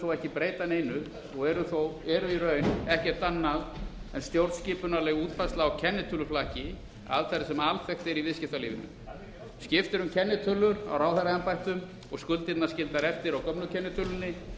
þó ekki breyta neinu og eru í raun ekkert annað en stjórnskipuleg útfærsla á kennitöluflakki aðferð sem alþekkt er í viðskiptalífinu skipt er um kennitölur á ráðherraembættum og skuldirnar skildar eftir á gömlu kennitölunni